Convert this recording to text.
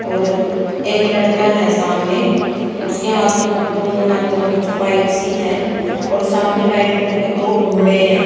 और एक लड़का है सामने उसके हाथों में भी दोनों हाथों में कुछ पाइप सी है और सामने व्हाइट कलर के दो घोड़े हैं।